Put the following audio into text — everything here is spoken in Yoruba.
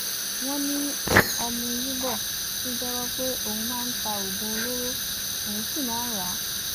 wọn ní ọmúyíbọ tún jẹwọ pé òun máa ń ta oògùn olóró òun sì máa ń rà á